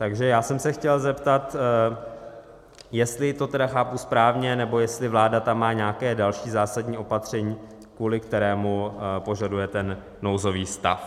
Takže já jsem se chtěl zeptat, jestli to tedy chápu správně, nebo jestli vláda tam má nějaké další zásadní opatření, kvůli kterému požadujete ten nouzový stav.